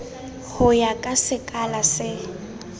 ho ya ka sekala se